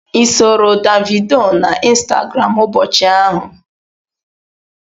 Ị soro Davido na Instagram ụbọchị ahụ?